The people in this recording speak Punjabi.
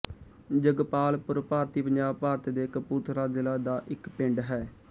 ਜਗਪਾਲ ਪੁਰ ਭਾਰਤੀ ਪੰਜਾਬ ਭਾਰਤ ਦੇ ਕਪੂਰਥਲਾ ਜ਼ਿਲ੍ਹਾ ਦਾ ਇੱਕ ਪਿੰਡ ਹੈ